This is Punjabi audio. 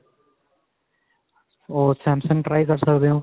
ਓਓ Samsung try ਕਰ ਸਕਦੇ ਹੋ .